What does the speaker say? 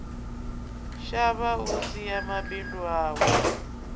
shavha u sia mabindu awe